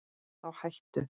Þá hættu